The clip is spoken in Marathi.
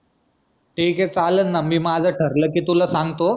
ठीक ए चालन ना मी माझ ठरलं की तुला सांगतो